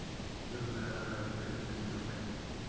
Hér að neðan eru fleiri myndir úr leiknum.